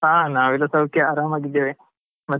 ಹಾ ನಾವೆಲ್ಲಾ ಸೌಖ್ಯ ಆರಾಮಾಗಿದ್ದೇವೆ ಮತ್ತೆ?